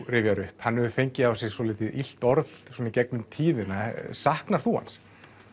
rifjar upp hann hefur fengið á sig svolítið illt orð svona í gegnum tíðina saknar þú hans